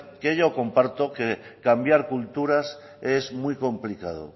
que yo comparto que cambiar culturas es muy complicado